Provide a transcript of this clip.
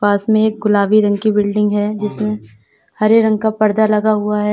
पास में एक गुलाबी रंग की बिल्डिंग है जिसमें हरे रंग का पर्दा लगा हुआ है।